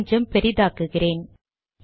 கொஞ்சம் பெரிதாக்குகிறேன்